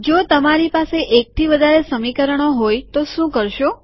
જો તમારી પાસે એકથી વધારે સમીકરણો હોય તો શું કરશો